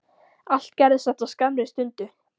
Allt gerðist þetta á skammri stundu.